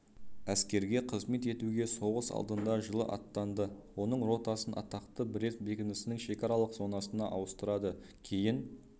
әскерге қызмет етуге соғыс алдында жылы аттанды оның ротасын атақты брест бекінісінің шекаралық зонасына ауыстырады кейін